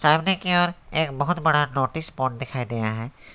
सामने की ओर एक बहुत बड़ा नोटिस बोर्ड दिखाई दिया है।